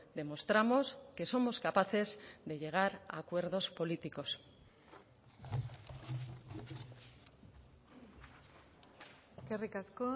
demostramos que somos capaces de llegar a acuerdos políticos eskerrik asko